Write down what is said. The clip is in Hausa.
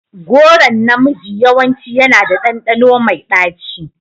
Goron na miji yawanci yana da ɗanɗano mai ɗaci.